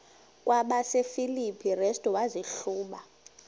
kwabasefilipi restu wazihluba